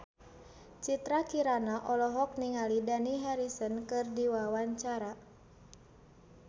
Citra Kirana olohok ningali Dani Harrison keur diwawancara